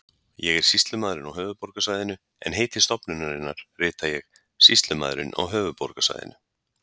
ég er sýslumaðurinn á höfuðborgarsvæðinu en heiti stofnunarinnar rita ég sýslumaðurinn á höfuðborgarsvæðinu